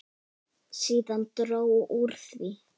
Síðan dró úr því.